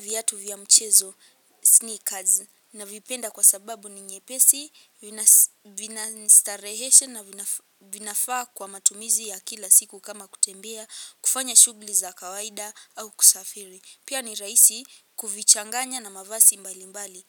Viatu vya mchezo sneakers navipenda kwa sababu ni nyepesi vinasa vina ni starehesha na vina vinafaa kwa matumizi ya kila siku kama kutembea kufanya shughuli za kawaida au kusafiri. Pia ni rahisi kuvichanganya na mavasi mbalimbali